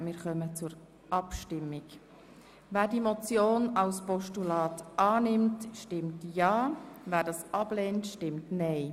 Wer diesen Vorstoss als Postulat annimmt, stimmt ja, wer es ablehnt, stimmt nein.